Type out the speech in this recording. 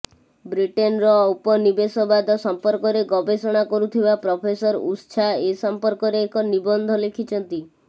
ବ୍ରିଟେନର ଔପନିବେଶବାଦ ସମ୍ପର୍କରେ ଗବେଷଣା କରୁଥିବା ପ୍ରଫେସର ଉତ୍ସା ଏ ସମ୍ପର୍କରେ ଏକ ନିବନ୍ଧ ଲେଖିଛନ୍ତି